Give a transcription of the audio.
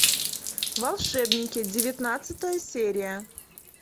волшебники девятнадцатая серия